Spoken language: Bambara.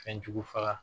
Fɛnjugu faga